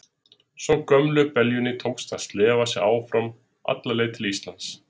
Svo gömlu beljunni tókst að slefa sig alla leið til Íslands.